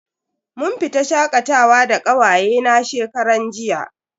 Mun fita shakatawa da kawaye na shekaran jiya.